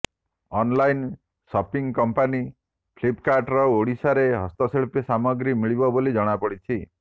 online shopping company ଫ୍ଲିପକାର୍ଟର ଓଡ଼ିଶାର ହସ୍ତଶୀଳ୍ପ ସାମଗ୍ରୀ ମିଳିବ ବୋଲି ଜଣାପଡିଛି